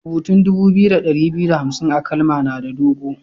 Rubutan dubu biyu da dari biyu da hamsin a'kalma na da dogo.